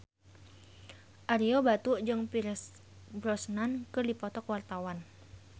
Ario Batu jeung Pierce Brosnan keur dipoto ku wartawan